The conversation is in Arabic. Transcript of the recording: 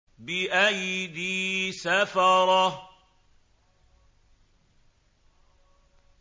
بِأَيْدِي سَفَرَةٍ